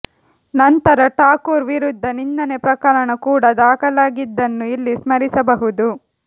ನಂತರ ಠಾಕೂರ್ ವಿರುದ್ಧ ನಿಂದನೆ ಪ್ರಕರಣ ಕೂಡಾ ದಾಖಲಾಗಿದ್ದನ್ನು ಇಲ್ಲಿ ಸ್ಮರಿಸಬಹುದು